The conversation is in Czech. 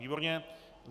Výborně.